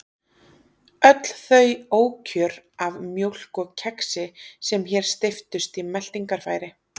Öll þau ókjör af mjólk og kexi sem hér steyptust í meltingarfæri.